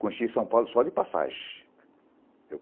Conheci São Paulo só de passagem.